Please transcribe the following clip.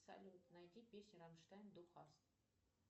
салют найди песню рамштайн ду хаст